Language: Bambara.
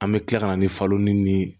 An bɛ tila ka na ni falo ni